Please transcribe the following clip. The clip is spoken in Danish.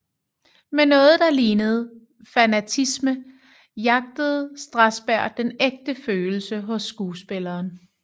Med noget der lignede fanatisme jagtede Strasberg den ægte følelse hos skuespilleren